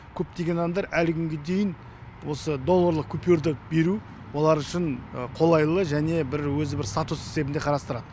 көптеген адамдар әлі күнге дейін осы долларлық купюрды беру олар үшін қолайлы және өзі статус есебінде қарастырады